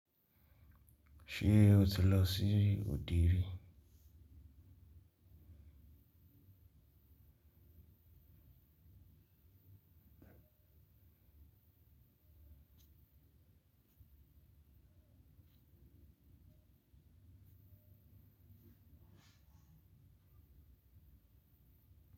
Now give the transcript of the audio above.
Ṣé o ti lọ sí òde rí?